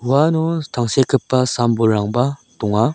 uano tangsekgipa sam-bolrangba donga.